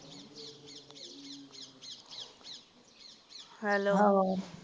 hello